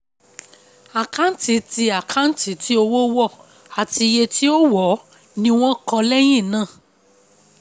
àkáǹtì tí àkáǹtì tí owó wọ̀ àti iye tí ó wọ̀ọ́ ni wọ́n kọ́ lẹ́yìn náà.